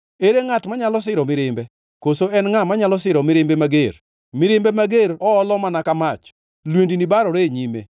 Ere ngʼat manyalo siro mirimbe? Koso en ngʼa manyalo siro mirimbe mager? Mirimbe mager oolo mana ka mach. Lwendni barore e nyime.